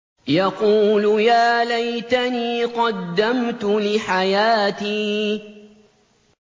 يَقُولُ يَا لَيْتَنِي قَدَّمْتُ لِحَيَاتِي